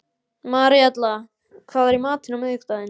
Maríella, hvað er í matinn á miðvikudaginn?